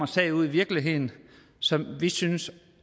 sag ude i virkeligheden som vi synes